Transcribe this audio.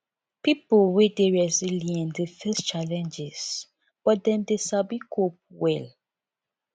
pipo wey dey resilient dey face challenges but dem dey sabi cope well